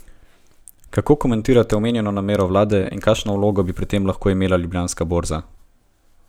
Kako komentirate omenjeno namero vlade in kakšno vlogo bi pri tem lahko imela Ljubljanska borza?